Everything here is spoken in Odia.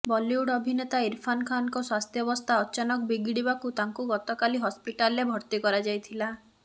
ବଲିଉଡ୍ ଅଭିନେତା ଇରଫାନ୍ ଖାନଙ୍କ ସ୍ୱାସ୍ଥ୍ୟବସ୍ଥା ଅଚାନକ ବିଗିଡିବାକୁ ତାଙ୍କୁ ଗତକାଲି ହସ୍ପିଟାଲରେ ଭର୍ତ୍ତି କରାଯାଇଥିଲା